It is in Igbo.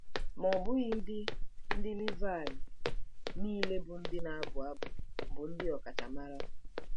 Ma ọ bụghị ndị ndị Livaị niile bụ́ ndị na-abụ abụ bụ ndị ọkachamara.